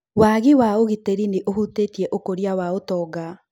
Waagi wa ũgitĩri nĩ ũhutĩtie ũkũria wa ũtonga.